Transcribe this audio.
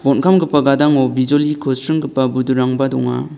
bonkamgipa gadango bijoliko sringggipa budurangba donga.